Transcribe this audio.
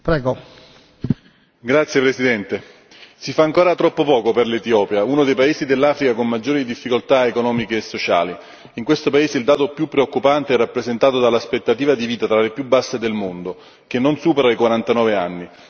Signor Presidente, onorevoli colleghi, si fa ancora troppo poco per l'Etiopia, uno dei paesi dell'Africa con maggiori difficoltà economiche e sociali. In questo paese il dato più preoccupante è rappresentato da un'aspettativa di vita tra le più basse del mondo, che non supera i 49 anni.